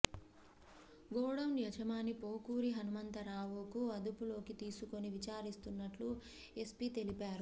godown యజమాని పోకూరి హనుమంతురావును అదుపులోకి తీసుకొని విచారిస్తున్నట్లు ఎస్పీ తెలిపారు